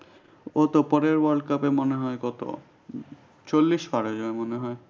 ও তো পরের world cup এ মনে হয় কত চল্লিশ পার হয়ে যাবে মনে হয়।